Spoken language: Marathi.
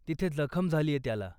तिथे जखम झालीये त्याला.